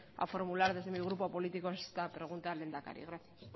a formular desde mi grupo político esta pregunta al lehendakari gracias